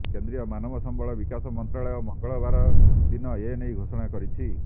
କେନ୍ଦ୍ରୀୟ ମାନବ ସମ୍ବଳ ବିକାଶ ମନ୍ତ୍ରାଳୟ ମଙ୍ଗଳବାର ଦିନ ଏନେଇ ଘୋଷଣା କରିଛି